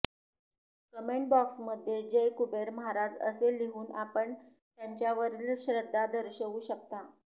comment box मध्ये जय कुबेर महाराज असे लिहून आपण त्यांच्यावरील श्रद्धा दर्शवू शकता